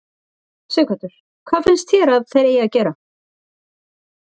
Sighvatur: Hvað finnst þér að þeir eig að gera?